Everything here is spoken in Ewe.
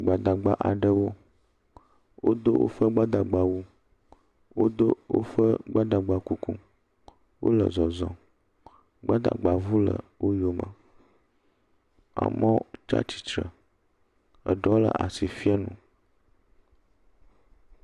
Gbadagba aɖewo, wodo woƒe gbadagbawu wodo woƒe gbadagba kuku, wole zɔzɔm, gbadagbaŋu le wo yome. Amewo tsi atsitre eɖewo le asi fiam nu.